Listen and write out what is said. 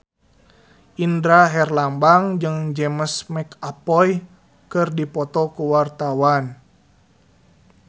Indra Herlambang jeung James McAvoy keur dipoto ku wartawan